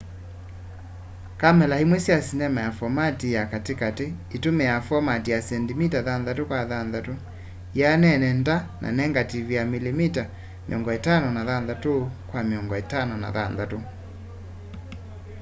kamela imwe sya sinema ya fomati ya kati kati itumiaa fomati ya sendimita 6 kwa 6 ianene nda na negative ya milimita 56 kwa 56